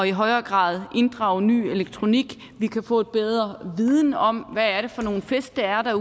i højere grad at inddrage ny elektronik vi kan få en bedre viden om hvad det er for nogle fisk der er